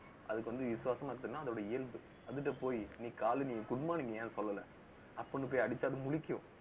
அதுக்கு வந்து, விசுவாசமா இருக்கணுன்னா அதோட இயல்பு அதுட்ட போயி, நீ காலனி good morning ஏன் சொல்லல அப்படீன்னு போய் அடிச்சா அது முழிக்கும்